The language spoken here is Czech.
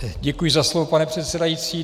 Děkuji za slovo, pane předsedající.